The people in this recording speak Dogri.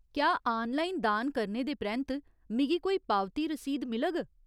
क्या आनलाइन दान करने दे परैंत्त मिगी कोई पावती रसीद मिलग ?